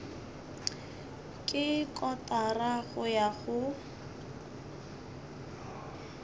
ke kotara go ya go